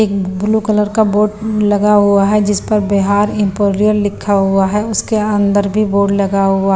एक blue colour का board लगा हुआ है जिस पर बिहार इंपोरियल लिखा हुआ है उसके अंदर भी बोर्ड लगा हुआ--